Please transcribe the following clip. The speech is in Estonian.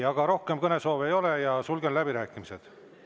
Aga rohkem kõnesoove ei ole ja sulgen läbirääkimised.